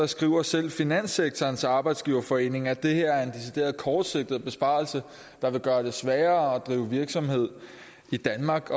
skriver selv finanssektorens arbejdsgiverforening at det her er en decideret kortsigtet besparelse der vil gøre det sværere at drive virksomhed i danmark